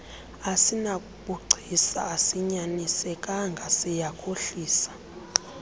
asinabugcisa asinyanisekanga siyakhohlisa